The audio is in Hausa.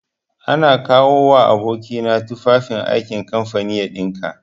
Ana kawowa aboki na tufan aikin kamfani ya ɗinka.